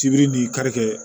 Sibiri ni karikɛ